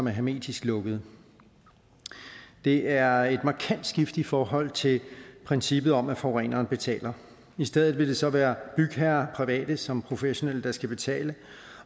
er hermetisk lukkede det er et markant skift i forhold til princippet om at forureneren betaler i stedet vil det så være bygherrer private som professionelle der skal betale